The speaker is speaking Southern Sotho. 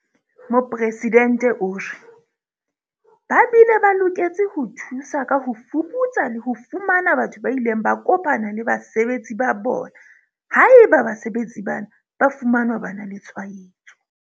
Mopresidente o re, "Ba bile ba loketse ho thusa ka ho fuputsa le ho fumana batho ba ileng ba kopana le basebetsi ba bona haeba basebetsi bana ba fumanwa ba na le tshwaetso."